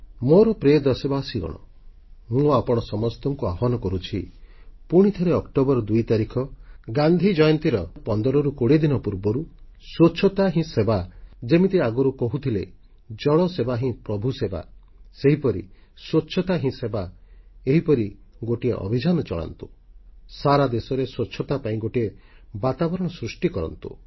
ମୋର ପ୍ରିୟ ଦେଶବାସୀଗଣ ମୁଁ ଆପଣ ସମସ୍ତଙ୍କୁ ଆହ୍ୱାନ କରୁଛି ପୁଣିଥରେ ଅକ୍ଟୋବର 2 ତାରିଖ ଗାନ୍ଧି ଜୟନ୍ତୀର 1520 ଦିନ ପୂର୍ବରୁ ସ୍ୱଚ୍ଛତା ହିଁ ସେବା ଯେମିତି ଆଗରୁ କହୁଥିଲେ ଜଳ ସେବା ହିଁ ପ୍ରଭୁ ସେବା ସେହିପରି ସ୍ୱଚ୍ଛତା ହିଁ ସେବା ଏହିପରି ଗୋଟିଏ ଅଭିଯାନ ଆରମ୍ଭ କରି ସାରା ଦେଶରେ ସ୍ୱଚ୍ଛତା ପାଇଁ ଗୋଟିଏ ବାତାବରଣ ସୃଷ୍ଟି କରନ୍ତୁ